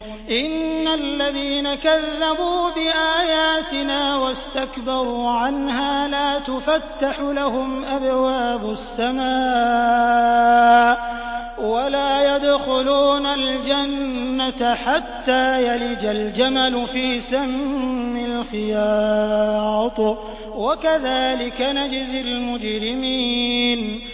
إِنَّ الَّذِينَ كَذَّبُوا بِآيَاتِنَا وَاسْتَكْبَرُوا عَنْهَا لَا تُفَتَّحُ لَهُمْ أَبْوَابُ السَّمَاءِ وَلَا يَدْخُلُونَ الْجَنَّةَ حَتَّىٰ يَلِجَ الْجَمَلُ فِي سَمِّ الْخِيَاطِ ۚ وَكَذَٰلِكَ نَجْزِي الْمُجْرِمِينَ